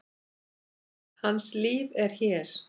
Hans líf er hér.